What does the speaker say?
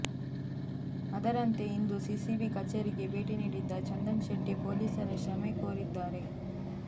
ಅದರಂತೆ ಇಂದು ಸಿಸಿಬಿ ಕಚೇರಿಗೆ ಭೇಟಿ ನೀಡಿದ್ದ ಚಂದನ್ ಶೆಟ್ಟಿ ಪೊಲೀಸರ ಕ್ಷಮೆ ಕೋರಿದ್ದಾರೆ